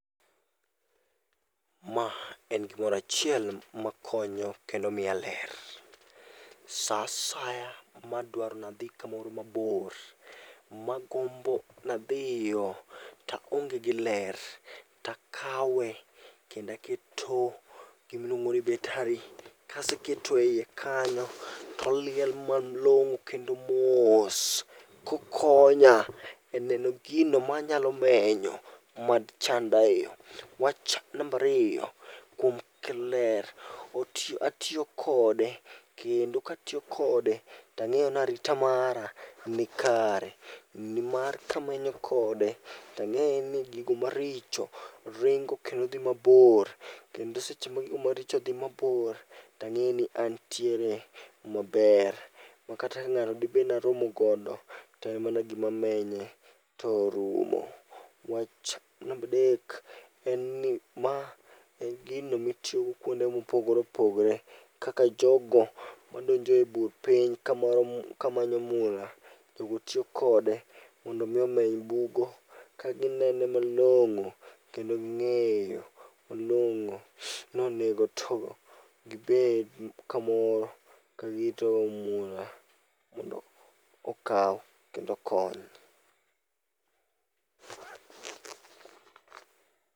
Ma en gimoro achiel makonyo kendo miya ler. Sa asaya madwaro nadhi kamoro mabor, magombo nadhiyo taonge gi ler, takawe kendo aketo gima iluongo ni betari. Kaseketo eiye kanyo, to oliel malong'o kendo mos kokonya eneno gino manyalo menyo mad chanda eyo. Wach namba ariyo, kuom kelo ler. Atiyo kode ,kendo katiyo kode tang'eyo ni arita mara nikare. Nimar kamenyo kode tang'eyo ni gigo maricho ringo kendo dhi mabor, kendo seche ma gigo maricho dhi mabor tang'eyo ni antiere maber. Makata ka ng'ato dibed naromo godo, to en mana gima menye to orumo. Wach namba adek en ni ma en gino mitiyogo kuonde mopogore opogore. Kaka jogo madonjo e bur piny kama kamanyo mula. Jogo tiyo kode mondo mi omeny bugo, ka gineno malong'o kendo ging'eyo malong'o ni onego to gibed kamoro kagirito mula mondo okaw kendo okony.